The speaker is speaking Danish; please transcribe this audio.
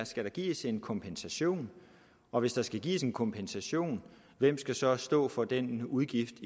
skal gives en kompensation og hvis der skal gives en kompensation hvem skal så stå for den udgift